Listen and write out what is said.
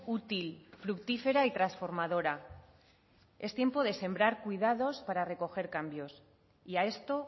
útil fructífera y transformadora es tiempo de sembrar cuidados para recoger cambios y a esto